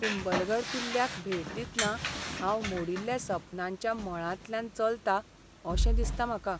कुंभलगढ किल्ल्याक भेट दितना हांव मोडील्ल्या सपनांच्या मळांतल्यान चलतां अशें दिसता म्हाका.